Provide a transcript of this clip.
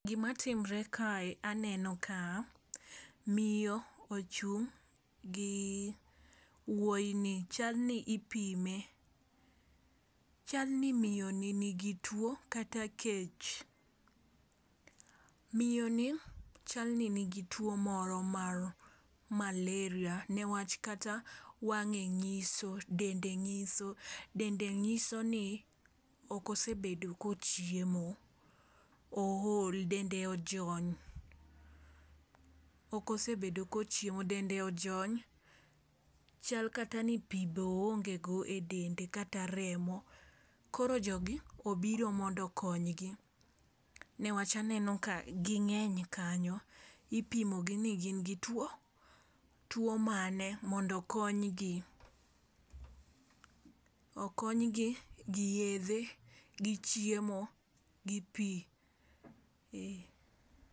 Gima timre kae aneno ka miyo ochung' gi wuoyi ni chal ni ipime. Chal ni miyo ni nigi tuo kata kech, miyo ni chal ni nigi tuo moro mar malaria newach kata wang'e ng'iso dende ng'iso dende nyiso ni ok osebedo kochiemo ool dende ojony. Ok osebedo kochiemo dende ojony. Chal kata ni pii be oonge go e dende kata remo koro jogi obiro mondo okonygi newach aneno ka ging'eny kanyo. Ipimo gi ni gin gi tuo tuo mane mondo okonygi okonygi gi yedhe, gi chiemo, gi pii .